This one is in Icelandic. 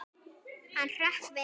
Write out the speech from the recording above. Hann hrökk við.